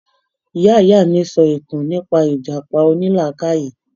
Ìyá ìyá mi sọ ìtàn nípa ìjàpá onílàákàyè.